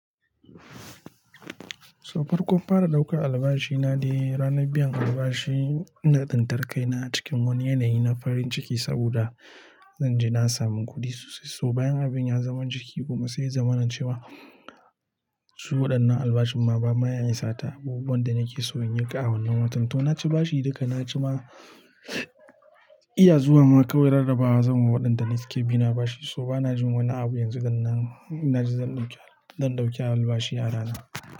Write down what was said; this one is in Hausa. To farkon fara daukan albashi na dai ranar biyan albashi ina tsintar kai na a cikin wani yanayi na farin ciki saboda zan ji na samu kuɗi sosai to bayan abin ya zama jiki kuma, sai ya zama na ce wa, su waɗannan albashin ma ba ma ya isa ta abubuwan da nake so in yi ƙa a wannan watan. To na ci bashi duka na ci ma, iya zuwa ma kawai rarrabawa zan wa waɗanda ne suke bi na bashi. So ba na jin wani abu yanzu gan nan, in na ji zan ɗauki, zan ɗauki albashi a rana.